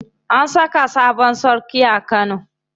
An saka sabon sarki a Kano.